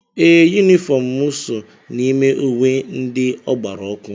Ee, Yunifọm mụ so n'ime uwe ndị ọ gbara ọkụ.